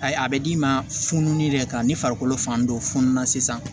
Ayi a bɛ d'i ma fununnin yɛrɛ kan ni farikolo fan dɔ fununa sisan